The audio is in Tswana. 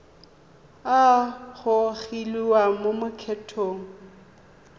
a a gogiwang mo lokgethong